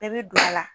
Bɛɛ bɛ don a la